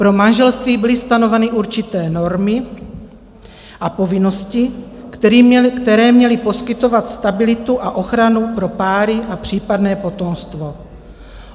Pro manželství byly stanoveny určité normy a povinnosti, které měly poskytovat stabilitu a ochranu pro páry a případné potomstvo.